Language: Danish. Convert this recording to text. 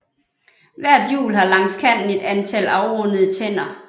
Hvert hjul har langs kanten et antal afrundede tænder